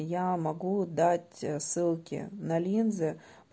я могу дать ссылки на линзы